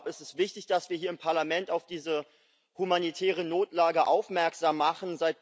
Ich glaube, es ist wichtig, dass wir hier im Parlament auf diese humanitäre Notlage aufmerksam machen.